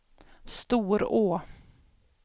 Storå